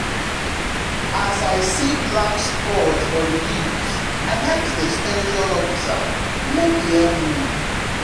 as i see black spots for the leaves i ask the ex ten sion officer make e help me.